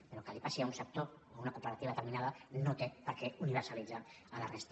però que li passi a un sector a una cooperativa determinada no té per què universalitzar la resta